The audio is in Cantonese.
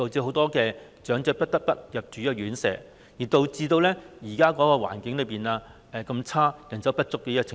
很多長者不得不入住院舍，因而令現時出現了環境惡劣、人手不足的問題。